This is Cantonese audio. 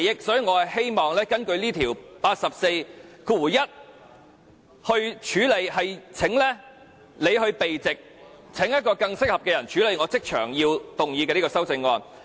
所以，我希望根據《議事規則》第841條，請梁君彥議員避席，另請一位更適合的人來處理我即場動議的這項修正案。